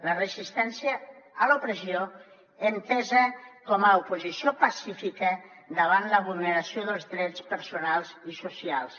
la resistència a l’opressió entesa com a oposició pacífica davant la vulneració dels drets personals i socials